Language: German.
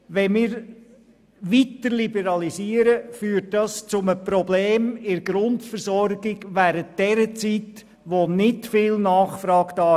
Eine weitere Liberalisierung führt zu einem Problem bei der Grundversorgung während der Zeit, in der keine grosse Nachfrage besteht.